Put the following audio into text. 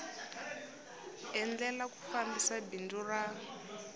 endlela ku fambisa bindzu ra